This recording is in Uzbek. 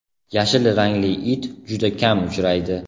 Yashil rangli it juda kam uchraydi.